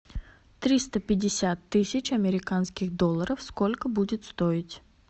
триста пятьдесят тысяч американских долларов сколько будет стоить